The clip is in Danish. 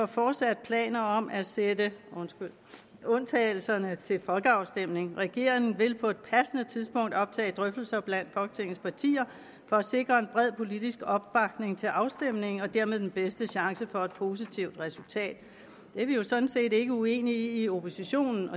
fortsat har planer om at sætte undtagelserne til folkeafstemning regeringen på et passende tidspunkt vil optage drøftelser blandt folketingets partier for at sikre en bred politisk opbakning til afstemningen og dermed den bedste chance for et positivt resultat det er vi jo sådan set ikke uenige i i oppositionen